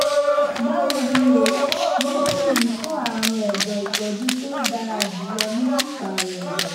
báwo ni o? níbí yìí fún àrùn ẹ̀dọ̀ ìtọ́jú tó dára jùlọ ni pípààrọ̀ ẹ̀dọ̀